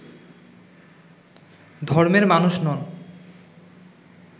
ধর্মের মানুষ নন